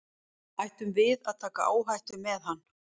Ættum við að taka áhættu með hann?